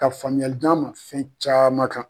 Ka faamuyajan ma fɛn caman kan